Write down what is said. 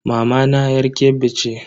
Mamana yar Kebbi ce.